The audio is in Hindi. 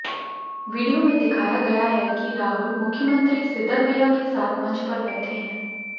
वीडियो में दिखाया गया है कि राहुल मुख्यमंत्री सिद्दरमैया के साथ मंच पर बैठे हैं